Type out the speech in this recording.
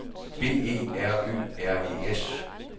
B E R Ø R E S